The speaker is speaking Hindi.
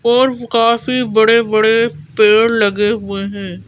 और काफी बड़े-बड़े पेड़ लगे हुए हैं।